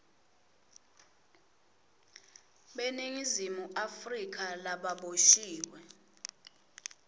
beningizimu afrika lababoshiwe